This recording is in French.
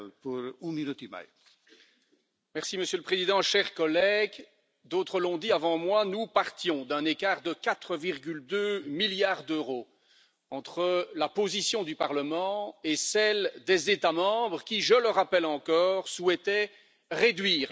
Monsieur le Président, chers collègues, d'autres l'ont dit avant moi, nous partions d'un écart de 4,2 milliards d'euros entre la position du Parlement et celle des États membres qui, je le rappelle encore, souhaitaient réduire la proposition de budget de la Commission